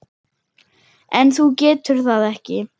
En þú getur það ekki.